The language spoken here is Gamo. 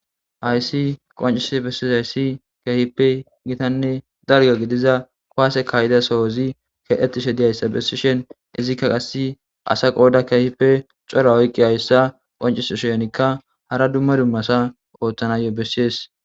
hayssi qoncise bessies hayssi kehipe gitanne dalga gidiza koase kayida sohozi kexettishe diyayssa bessishen izikka qasse asa qooda keehipe cora oyqqihayssa qoncisoshenikka hara dumma dummasa ooththanayo bessies